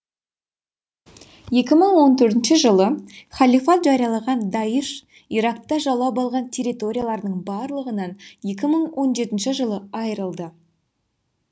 екі мың он төртінші жылы халифат жариялаған даиш иракта жаулап алған территорияларының барлығынан екі мың он жетінші жылы айырылды